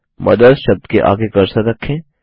mother's शब्द के आगे कर्सर रखें